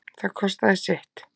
Það kostaði sitt